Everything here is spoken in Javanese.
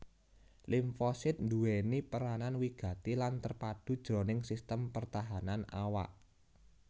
Limfosit nduwèni peranan wigati lan terpadu jroning sistem pertahanan awak